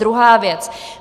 Druhá věc.